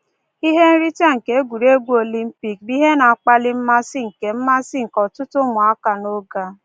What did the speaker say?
Ihe nrite egwuregwu Olimpik bụ ihe na-akpali mmasị nke mmasị nke ọtụtụ ụmụaka n’oge a.